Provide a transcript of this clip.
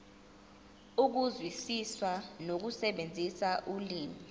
ukuzwisisa nokusebenzisa ulimi